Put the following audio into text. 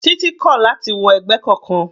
Titi kò láti wọ ẹgbẹ́ kankan.